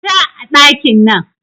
Fita a ɗakin nan